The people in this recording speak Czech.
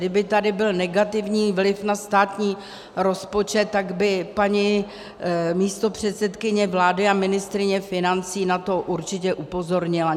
Kdyby tady byl negativní vliv na státní rozpočet, tak by paní místopředsedkyně vlády a ministryně financí na to určitě upozornila.